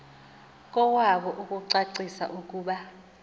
kowabo ukucacisa ukuba